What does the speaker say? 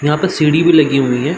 यहाँ पे सीढ़ी भी लगी हुई है।